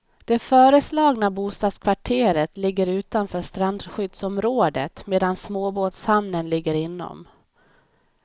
Det föreslagna bostadskvarteret ligger utanför strandskyddsområdet medan småbåtshamnen ligger inom.